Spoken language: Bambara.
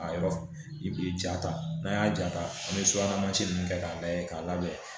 A yɔrɔ i bi jaa ta n'an y'a ja ta an be subahana mansi nunnu kɛ k'a layɛ k'a labɛn